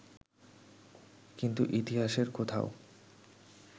কিন্তু ইতিহাসের কোথাও